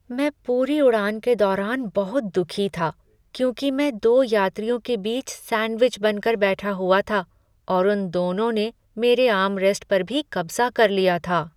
मैं पूरी उड़ान के दौरान बहुत दुखी था क्योंकि मैं दो यात्रियों के बीच सैंडविच बन कर बैठा हुआ था और उन दोनों ने मेरे आर्मरेस्ट पर भी कब्जा कर लिया था।